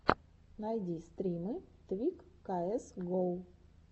найди стримы твик каэс гоу